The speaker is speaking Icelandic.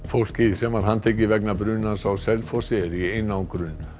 fólkið sem var handtekið vegna brunans á Selfossi er í einangrun